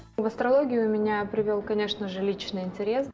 в астрологию меня привел конечно же личный интерес